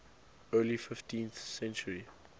early fifteenth century